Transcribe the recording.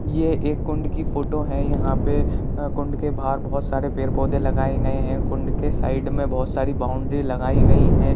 ये एक कुंड की फोटो है | यहाँ पे कुंड के बाहर बहुत सारे पेड़ पौधे लगाए गए हैं | कुंड के साईड में बहुत सारी बाउंड्री लगाई गईं हैं।